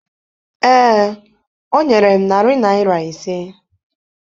Ee, o nyere m narị naịra ise.